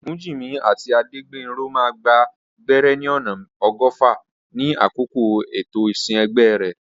Ogunjimi àti Adegbenro máa gba gbẹ́rẹ́ ní ọ̀nà ọgọ́fà ní àkókò ètò ìsìn ẹgbẹ́ rẹ̀.